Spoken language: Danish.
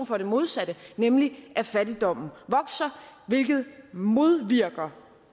for det modsatte nemlig at fattigdommen vokser hvilket modvirker